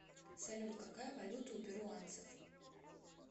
салют какая валюта у перуанцев